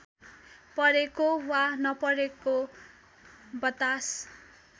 परेको वा नपरेको बतास;